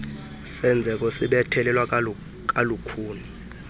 senzeko sibethelelwa kalukhuni